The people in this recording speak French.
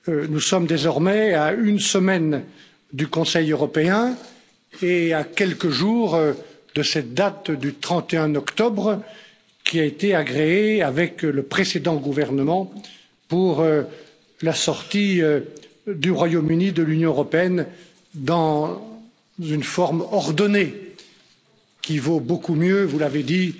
Nous sommes désormais à une semaine du Conseil européen et à quelques jours de cette date du 31 octobre, qui a été agréée avec le précédent gouvernement pour la sortie du Royaume Uni de l'Union européenne dans une forme ordonnée qui vaut beaucoup mieux, vous l'avez dit,